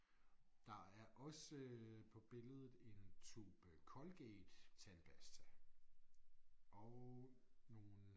Der er også på billedet en tube Colgate-tandpasta og nogle